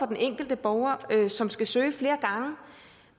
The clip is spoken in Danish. den enkelte borger som skal søge flere gange